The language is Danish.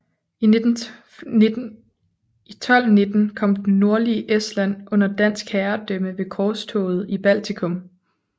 I 1219 kom det nordlige Estland under dansk herredømme ved korstoget i Baltikum